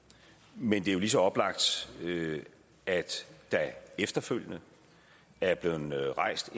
men det er jo lige så oplagt at der efterfølgende er blevet rejst